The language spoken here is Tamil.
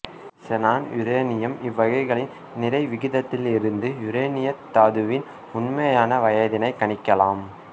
செனான்யுரேனியம் இவைகளின் நிறை விகிதத்திலிருந்து யுரேனியத் தாதுவின் உண்மையான வயதினைக் கணிக்கலாம்